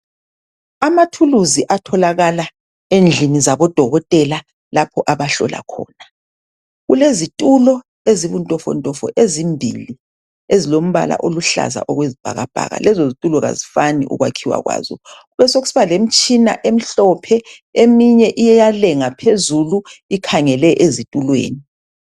Amathuluzi atholakala endlini zabodokotela lapho abahlola khona. Kulezitulo ezibuntofontofo ezimbili ezilombala oluhlaza okwesibhakabhaka, lezozitulo kazifani ukwakhiwa kwazo, besokusiba lemtshina emhlophe eminye iyalenga phezulu ikhangele ezitulweni.